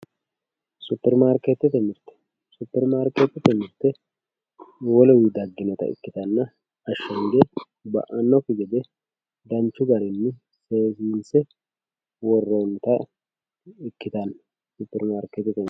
Superimaarketete mirte, superimaarketete mirte woluwi dagginotta ikkittanna ashagate ba"anokki gede danchu garinni seesise worronnitta ikkittano superimaarketete mirte.